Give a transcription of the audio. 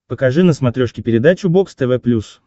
покажи на смотрешке передачу бокс тв плюс